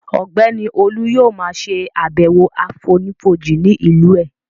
Ọ̀gbẹ́ni Olú yóò ma ṣàbẹ̀wọ̀ àfonífojì ní ìlú ẹ̀